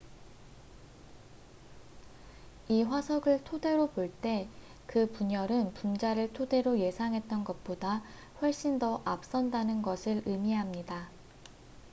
"""이 화석을 토대로 볼 때 그 분열은 분자를 토대로 예상했던 것보다 훨씬 더 앞선다는 것을 의미합니다.